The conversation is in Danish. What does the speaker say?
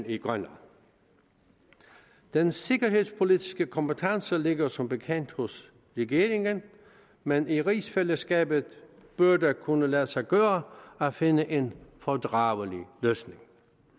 i grønland den sikkerhedspolitiske kompetence ligger som bekendt hos regeringen men i rigsfællesskabet bør det kunne lade sig gøre at finde en fordragelig løsning